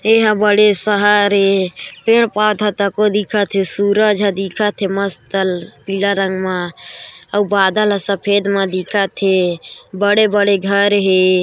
ऐ हा बड़े शहर ए पेड़-पौधा तको दिखत हे सूरज हा दिखत हे मस्त पीला रंग मा अउ बदल हा सफ़ेद मा दिखत हे बड़े-बड़े घर हे।